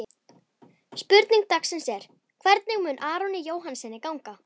Spurning dagsins er: Hvernig mun Aroni Jóhannssyni ganga?